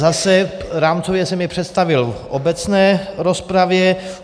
Zase, rámcově jsem je představil v obecné rozpravě.